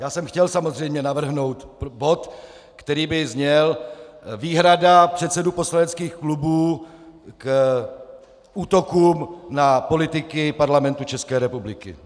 Já jsem chtěl samozřejmě navrhnout bod, který by zněl Výhrada předsedů poslaneckých klubů k útokům na politiky Parlamentu České republiky.